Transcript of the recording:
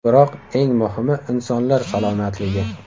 Biroq eng muhimi insonlar salomatligi.